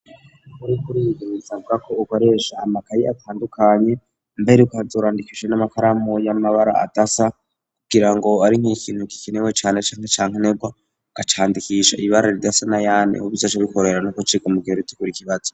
uriko uriga bisabwa ko ukoresha amakayi atandukanye mbere ukazurandikisha n'amakaramu y'amabara adasa kugira ngo ari nk'ikintu gikenewe cane ca nkenegwa ugacandikisha ibara ridasa n,ayandi kugira bizoce bikorohera no guciga mu gihe w,itegurira ikibazo.